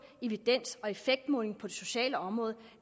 evidens og effektmåling på det sociale område